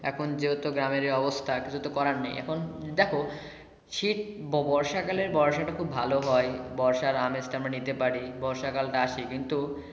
এখন যেহেতো গ্রামের এই অবস্থা কিছু তো করার নেই এখন দেখো শীত বর্ষা কালের বর্ষাটা খুব ভালো হয় বর্ষার আমেজ টা আমরা নিতে পারি বর্ষা কালটা আসে।